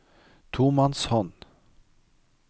tomannshånd